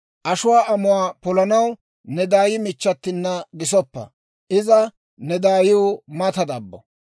Ashuwaa amuwaa polanaw ne daay michchatina gisoppa; iza ne daayiw mata dabbo.